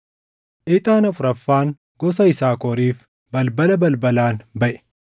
Ixaan afuraffaan gosa Yisaakoriif balbala balbalaan baʼe.